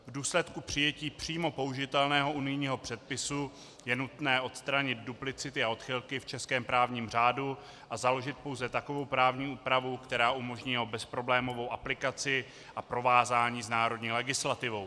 V důsledku přijetí přímo použitelného unijního předpisu je nutné odstranit duplicity a odchylky v českém právním řádu a založit pouze takovou právní úpravu, která umožní jeho bezproblémovou aplikaci a provázání s národní legislativou.